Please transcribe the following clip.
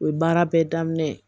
O ye baara bɛɛ daminɛ